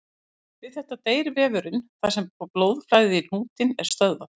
Við þetta deyr vefurinn þar sem blóðflæði í hnútinn er stöðvað.